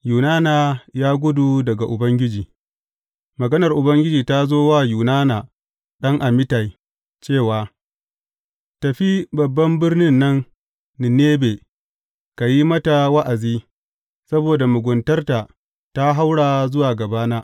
Yunana ya gudu daga Ubangiji Maganar Ubangiji ta zo wa Yunana ɗan Amittai cewa, Tafi babban birnin nan Ninebe ka yi mata wa’azi, saboda muguntarta ta haura zuwa gabana.